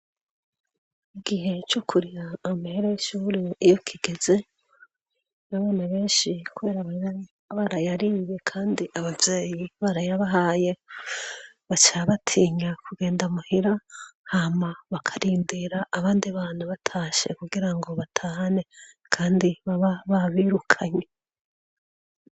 Igihe co kuriha amahera y'ishuri iyo kigeze na bana benshi kubera baba barayariye kandi abavyeyi barayabahaye, baca batinya kugenda muhira, hama bakarindira abandi bantu batashe kugira ngo batahane, kandi baba babirukanye.